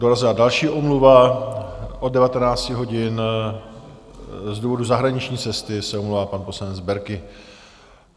Dorazila další omluva, od 19 hodin z důvodu zahraniční cesty se omlouvá pan poslanec Berki.